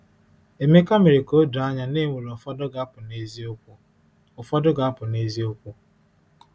Emeka mere ka o doo anya na e nwere ụfọdụ ga-apụ n’eziokwu. ụfọdụ ga-apụ n’eziokwu.